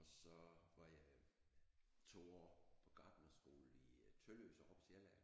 Og så var jeg to år på gartnerskole i øh Tølløse over på Sjælland